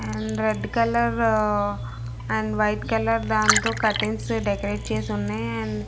and red colour uh and white colour దాంతో curtains decorate చేసి ఉన్నాయి అండ్ --